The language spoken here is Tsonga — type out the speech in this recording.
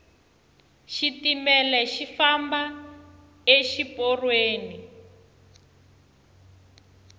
xitimele xi famba exi porweni